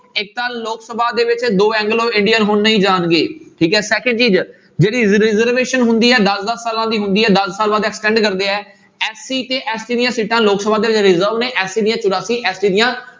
ਇੱਕ ਤਾਂ ਲੋਕ ਸਭਾ ਦੇ ਵਿੱਚ ਦੋ ਐਂਗਲੋ ਇੰਡੀਅਨ ਹੁਣ ਨਹੀਂ ਜਾਣਗੇ ਠੀਕ ਹੈ second ਚੀਜ਼ ਜਿਹੜੀ reservation ਹੁੰਦੀ ਆ ਦਸ ਦਸ ਸਾਲਾਂ ਦੀ ਹੁੰਦੀ ਹੈ ਦਸ ਸਾਲ ਬਾਅਦ SC ਤੇ ST ਦੀਆਂ ਸੀਟਾਂ ਲੋਕ ਸਭਾ SC ਦੀਆਂ ਚੁਰਾਸੀ ST ਦੀਆਂ